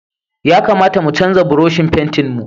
Ya kamata mu canza Burushin fentin mu.